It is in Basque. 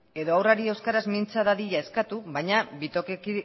edo haurrari euskaraz mintza dadila eskatu baina